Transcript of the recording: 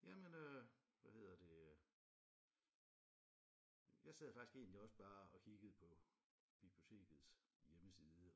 Jamen øh hvad hedder det øh jeg sad faktisk egentlig også bare og kiggede på bibliotekets hjemmeside